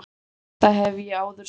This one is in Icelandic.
Þetta hef ég áður sagt.